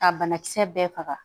Ka banakisɛ bɛɛ faga